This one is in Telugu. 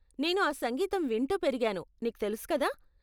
నేను ఆ సంగీతం వింటూ పెరిగాను, నీకు తెలుసు కదా.